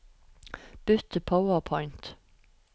Bytt til PowerPoint